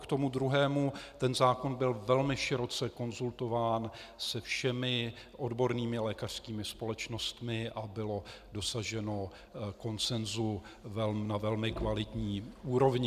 K tomu druhému - ten zákon byl velmi široce konzultován se všemi odbornými lékařskými společnostmi a bylo dosaženo konsensu na velmi kvalitní úrovni.